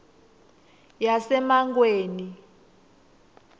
yasemangweni